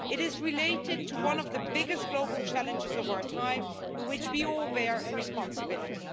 It is related to one of the biggest global challenges of our time, in which we all bear responsibility.